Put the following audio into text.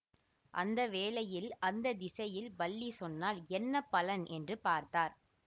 அந்த வேளையில் அந்த திசையில் பல்லி சொன்னால் என்ன பலன் என்று பார்த்தார்